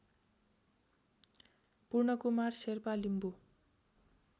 Purnakumar Sherpa Limbu